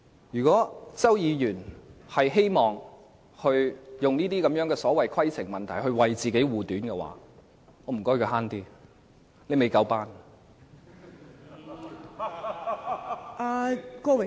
如果周議員希望以這種所謂規程問題來為自己護短，我請他"慳啲"，他"未夠班"。